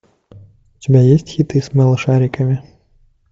у тебя есть хиты с малышариками